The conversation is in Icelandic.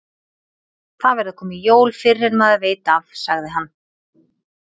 Það verða komin jól fyrr en maður veit af, sagði hann.